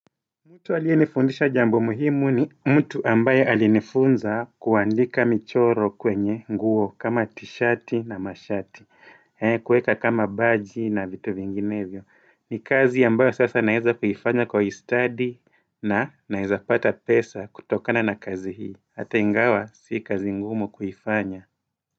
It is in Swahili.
Mtu aliyenifundisha jambo muhimu ni mtu ambaye alinifunza kuandika michoro kwenye nguo kama tishati na mashati kuweka kama baji na vitu vinginevyo ni kazi ambayo sasa naeza kuifanya kwa stadi na naeza pata pesa kutokana na kazi hii hata ingawa si kazi ngumu kuifanya.